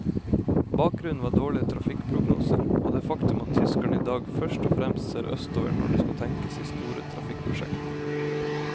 Bakgrunnen var dårlige trafikkprognoser og det faktum at tyskerne i dag først og fremst ser østover når det skal tenkes i store trafikkprosjekter.